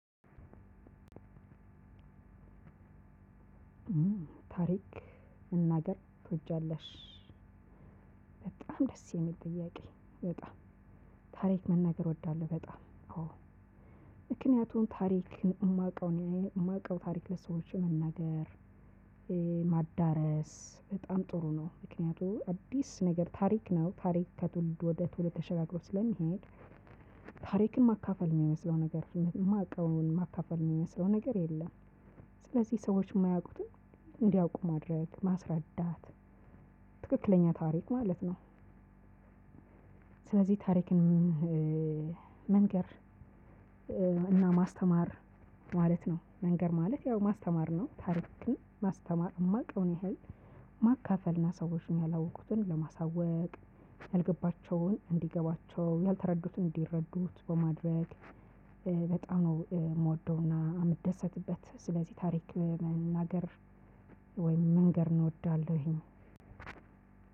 ታሪክ መናገር ትወጃለሽ? በጣም ደስ የሚል ጥያቄ በጣም ታሪክ መናገር እወዳለው። በጣም አዎ ምክንያቱን ታሪክ የማውቀው ነው የማውቀው ታሪክ ለሰዎች መናገር ማዳረስ በጣም ጥሩ ነው። ምክንያቱም አዲስ ነገር ታሪክ ነው ታሪክ ከትውልድ ወደ ትውልድ ተሸጋግሮ ስለሚሄድ። ታሪክን ማካፈል የሚመስለው ነገር ስሜትን የማውቀውን ማካፈል የሚመስለው ነገር የለም። ስለዚህ ሰዎች የማያውቁትን እንዲያውቁ ማድረግ ማስረዳት ትክክለኛ ታሪክ ማለት ነው። ስለዚህ ታሪክን መንገር እና ማስተማር ማለት ነው። መንገር ማለት ያው ማስተማር ነው። ታሪክን ማስተማር የማውቀውን ያህል ማካፈልና ሰዎችን ያላወቅቱን ለማሳወቅ ያልገባቸውን እንዲገባቸው ያልተረዱትን እንዲረዱት በማድረግ። በጣም ነው የምወደውና የምደሰትበት ስለዚህ ታሪክ መናገር ወይም መንገር እንወዳለሁኝ።